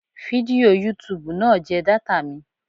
Fídíò yútubù náà jẹ data mi.